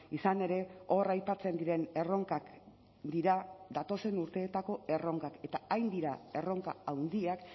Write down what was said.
izan ere hor aipatzen diren erronkak dira datozen urteetako erronkak eta hain dira erronka handiak